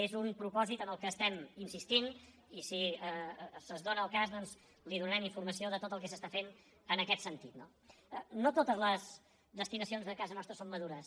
és un propòsit en què insistim i si es dóna el cas doncs li donarem informació de tot el que es fa en aquest sentit no no totes les destinacions de casa nostra són madures